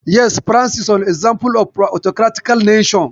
Yes, France is an example of autocratical nation.